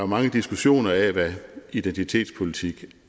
mange diskussioner af hvad identitetspolitik